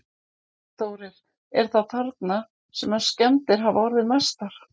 Þórir: Er það þarna sem að skemmdir hafa orðið mestar?